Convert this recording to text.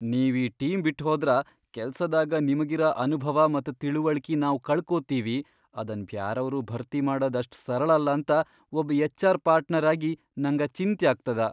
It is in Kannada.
ನೀವ್ ಈ ಟೀಮ್ ಬಿಟ್ಹೋದ್ರ ಕೆಲ್ಸದಾಗ ನಿಮಗಿರ ಅನುಭವ ಮತ್ ತಿಳವಳ್ಕಿ ನಾವ್ ಕಳಕೋತೀವಿ ಅದನ್ ಬ್ಯಾರೆಯವ್ರು ಭರ್ತಿ ಮಾಡದ್ ಅಷ್ಟ್ ಸರಳಲ್ಲ ಅಂತ ಒಬ್ ಎಚ್.ಆರ್. ಪಾರ್ಟ್ನರ್ ಆಗಿ ನಂಗ ಚಿಂತ್ಯಾಗ್ತದ.